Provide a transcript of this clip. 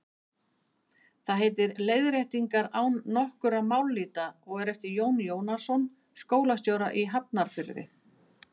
Það heitir Leiðréttingar nokkurra mállýta og er eftir Jón Jónasson skólastjóra í Hafnarfirði.